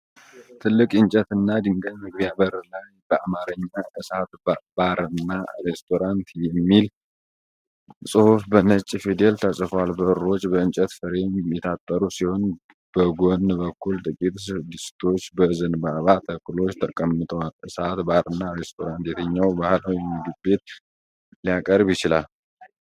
ትልቅ የእንጨትና የድንጋይ መግቢያ በር ላይ በአማርኛ "እሰት ባርና ሬስቶራንት" የሚል ጽሑፍ በነጭ ፊደል ተጽፏል። በሮች በእንጨት ፍሬም የታጠሩ ሲሆን፣ በጎን በኩል ጥቂት ድስቶች በዘንባባ ተክሎች ተቀምጠዋል። እሰት ባርና ሬስቶራንት የትኛውን ባህላዊ ምግብ ሊያቀርብ ይችላል?